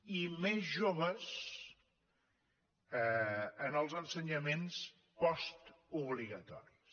i més joves en els ensenyaments postobligatoris